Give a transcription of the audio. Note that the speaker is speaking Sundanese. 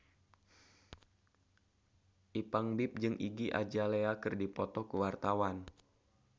Ipank BIP jeung Iggy Azalea keur dipoto ku wartawan